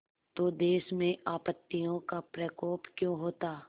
तो देश में आपत्तियों का प्रकोप क्यों होता